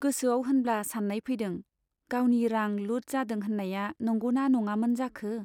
गोसोआव होनब्ला सान्नाय फैदों, गावनि रां लुट जादों होन्नाया नंगौमोन ना नङामोन जाखो !